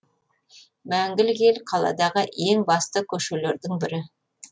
мәңгілік ел қаладағы ең басты көшелердің бірі